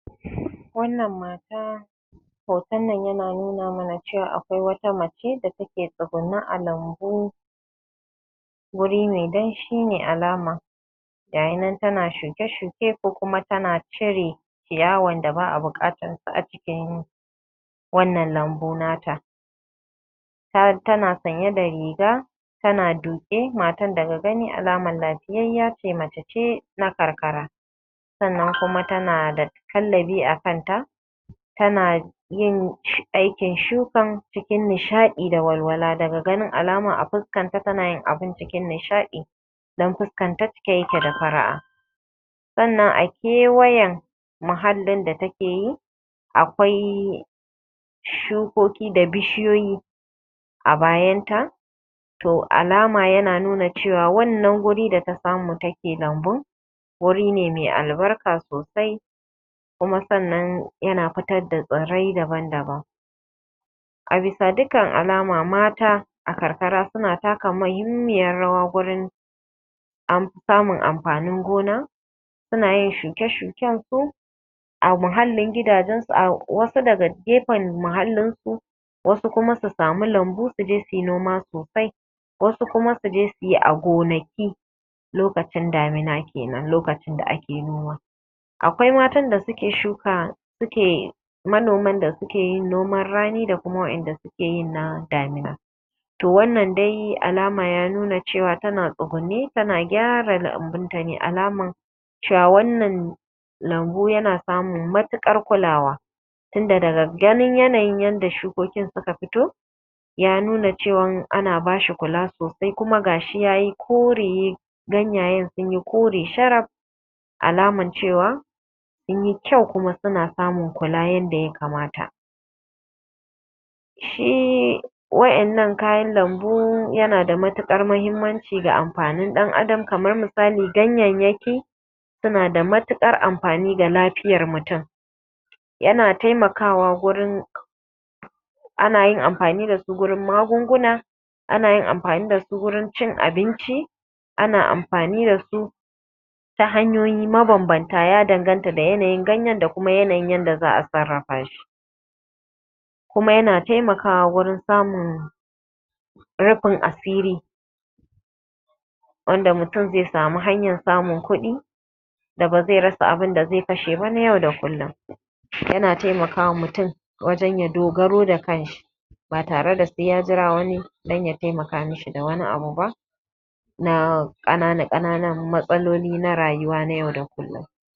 Wannan Mata, hoton nan yana nuna mana cewa akwai wata mace da ta ke tsugunne a lambu. Wuri mai danshi ne alama' gashi nan tana shuke shuke ko kuma tana cire ciyawan da ba a buƙatansa cikin wannan lambu na ta. Tana sanye da riga tana duƙe. Matar daga ganin alama lafiyayya ce mace na karkara, sannan kuma tana da kallabi a kan ta tana yin aikin shukan cikin nishaɗi da walwala daga ganin alama abin tana yin shi cikin nishaɗi dan fuskarta cike yake da faraʼa. Sannan a kewayen muhallin da take yi akwai shukoki da bishiyoyi a bayanta. To alama yana nuna cewan wannan wuri tana samu ta ke lambun wuri ne mai albarka sosai kuma sannan yana fitar da tsirrai daban-daban. Bisa dukkan alama mata a karkara suna taka muhimmiyan rawa gurin samun amfannin noma. Suna yin shuke shukensu a muhallin gidajensu wasu daga gefen muhallin su, assu kuma su sami lambu su je su noman sosai, wassu kuma su je su yi a gonaki lokacin damina kenan lokacin da a ke noma. Akwai matan da suke shuka suke manoman da suke noman rani da kuma na damina. To wannan dai alama dai ya nuna ya cewa tana tsugunne ta gyara lambun tane alaman cewa wannan lambu yana samun matukar kulawa inda daga ganin yadda shukokin suka fito a nuna cewan ana bashi kula sosai kuma gashi yai kore ganyayen sun yi kore sharaf alaman cewa sun yi kyau kuma suna samun kula yadda ya kamata. shi Shi waƴannan kayan lambu yana da matuƙar muhimmanci ga Ɗan Adam, kamar misali ganyayyaki suna da matukar amfani ga lafiyan mutum suna taimakawa wurin anayin amfani da shi na yin magunguna ana amfani da su wurin cin abinci ana amfani dasu ta hanyoyi mabanbanta sai ganyen da kuma yanayin yadda za a sarrafa shi. Kuma yana taimakawa wajen samun rufin asiri a yadda mutum zai sami kuɗi da ba zai rasa abinda zai kashe ba na yau da kullum ya taimakawa mutum wajen ya yi dogaro da shi ba tare da sai ya jira wani ya taimaka mishi da wani abu ba na ƙanana ƙananan matsaloli na rayuwa na yau da kullum.